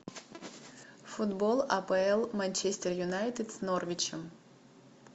футбол апл манчестер юнайтед с норвичем